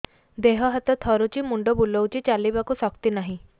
ଦେହ ହାତ ଥରୁଛି ମୁଣ୍ଡ ବୁଲଉଛି ଚାଲିବାକୁ ଶକ୍ତି ନାହିଁ